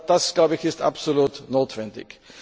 Das, glaube ich, ist absolut notwendig.